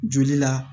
Joli la